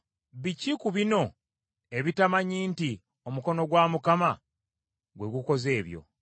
Biki ku bino ebitamanyi nti, omukono gwa Mukama gwe gukoze ebyo?